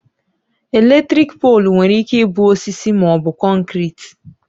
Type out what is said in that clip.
Elektriki poolu nwere ike ịbụ osisi maọbụ kọnkriti